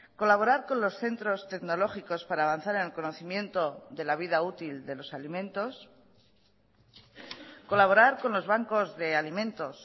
colaborar con los centros tecnológicos para avanzar en el conocimiento de la vida útil de los alimentos colaborar con los bancos de alimentos